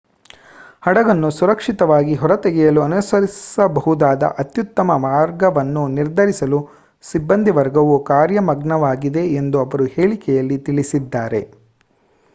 ಹಡಗನ್ನು ಸುರಕ್ಷಿತವಾಗಿ ಹೊರತೆಗೆಯಲು ಅನುಸರಿಸಬಹುದಾದ ಅತ್ಯುತ್ತಮ ಮಾರ್ಗವನ್ನು ನಿರ್ಧರಿಸಲು ಸಿಬ್ಬಂದಿವರ್ಗವು ಕಾರ್ಯಮಗ್ನವಾಗಿದೆ ಎಂದು ಅವರು ಹೇಳಿಕೆಯಲ್ಲಿ ತಿಳಿಸಿದ್ದಾರೆ